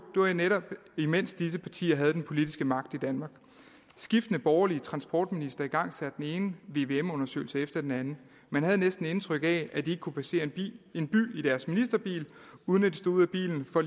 netop mens disse partier havde den politiske magt i danmark skiftende borgerlige transportministre igangsatte den ene vvm undersøgelse efter den anden man havde næsten indtryk af at de ikke kunne passere en by i deres ministerbil uden at de stod ud af bilen for